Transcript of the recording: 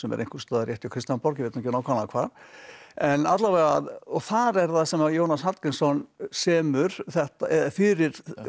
einhvers staðar rétt hjá Kristjánsborg ég veit nú ekki nákvæmlega hvar en alla vega og þar er það sem að Jónas Hallgrímsson semur fyrir